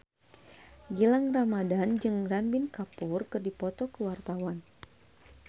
Gilang Ramadan jeung Ranbir Kapoor keur dipoto ku wartawan